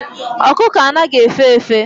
Okuko anaghi efe efe